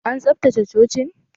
An tsaftace cocin?